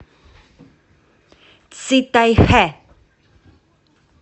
цитайхэ